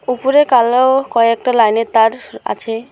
ওপরে কালো কয়েকটা লাইনের তার আছে।